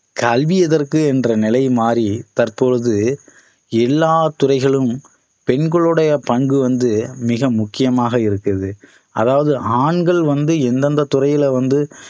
கல்வி எதற்கு என்ற நிலை மாறி தற்போது எல்லாத் துறைகலிளும் பெண்களுடைய பங்கு வந்து மிக முக்கியமாக இருக்குது அதாவது ஆண்கள் வந்து எந்தெந்த துறையில வந்து